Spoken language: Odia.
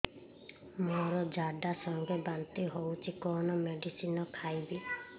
ମୋର ଝାଡା ସଂଗେ ବାନ୍ତି ହଉଚି କଣ ମେଡିସିନ ଖାଇବି